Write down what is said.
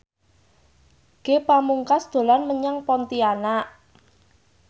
Ge Pamungkas dolan menyang Pontianak